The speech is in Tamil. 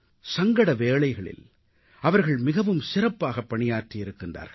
சங்கட வேளைகளில் அவர்கள் மிகவும் சிறப்பாகப் பணியாற்றியிருக்கிறார்கள்